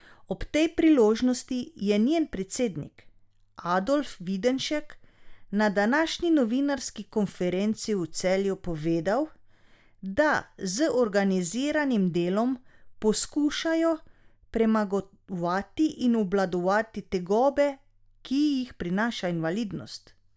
Ob tej priložnosti je njen predsednik Adolf Videnšek na današnji novinarski konferenci v Celju povedal, da z organiziranim delom poskušajo premagovati in obvladovati tegobe, ki jih prinaša invalidnost.